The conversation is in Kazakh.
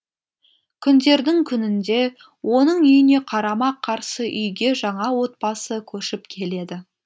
күндердің күнінде оның үйіне қарама қарсы үйге жаңа отбасы көшіп келеді